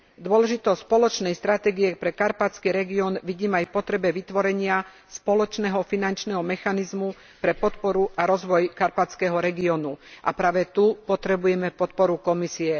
Dôležitosť spoločnej stratégie pre karpatský región vidím aj v potrebe vytvorenia spoločného finančného mechanizmu pre podporu a rozvoj karpatského regiónu a práve tu potrebujeme podporu Komisie.